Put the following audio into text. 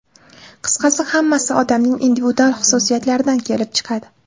Qisqasi, hammasi odamning individual xususiyatlaridan kelib chiqadi.